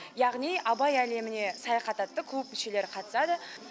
яғни абай әлеміне саяхат атты клуб мүшелері қатысады